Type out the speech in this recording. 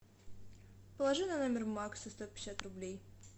положи на номер макса сто пятьдесят рублей